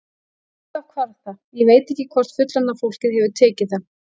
Alltaf hvarf það, ég veit ekki hvort fullorðna fólkið hefur tekið það.